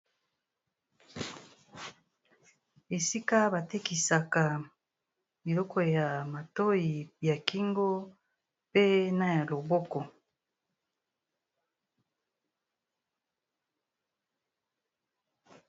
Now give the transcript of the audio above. Esika batekisaka biloko ya matoi ya kingo pe na ya loboko